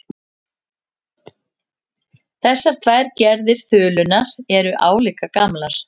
Þessar tvær gerðir þulunnar eru álíka gamlar.